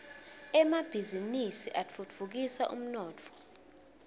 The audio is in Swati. emabhizinisi atfutfukisa umnotfo